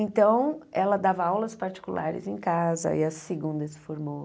Então, ela dava aulas particulares em casa, aí a segunda se formou.